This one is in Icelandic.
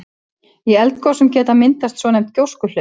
Í eldgosum geta myndast svonefnd gjóskuhlaup.